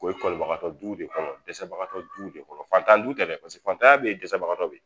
O ye kɔlibagatɔ duw de kɔnɔ, dɛsɛbagatɔ duw de kɔnɔ, fatan du tɛ paseke fantanya be yen dɛsɛbagatɔ be yen